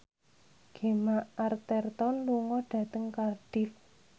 Gemma Arterton lunga dhateng Cardiff